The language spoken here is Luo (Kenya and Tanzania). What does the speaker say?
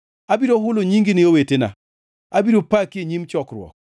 Abiro hulo nyingi ne owetena; abiro paki e nyim chokruok.